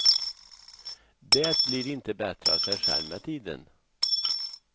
Det blir inte bättre av sig själv med tiden.